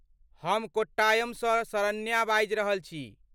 हम कोट्टायमसँ शरण्या बाजि रहल छी।